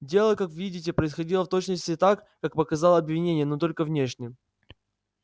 дело как видите происходило в точности так как показало обвинение но только внешне